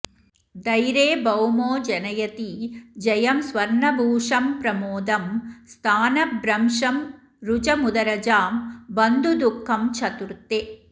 धैरे भौमो जनयति जयं स्वर्णभूषंप्रमोदं स्थानभ्रंशं रुजमुदरजां बन्धुदुःखं चतुर्थे